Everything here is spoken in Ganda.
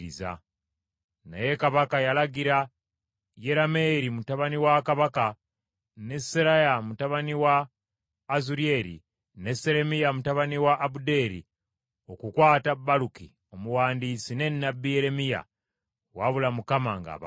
Naye kabaka yalagira Yerameeri mutabani wa kabaka ne Seraya mutabani wa Azulyeri ne Seremiya mutabani wa Abudeeri okukwata Baluki omuwandiisi ne nnabbi Yeremiya, wabula Mukama ng’abakwese.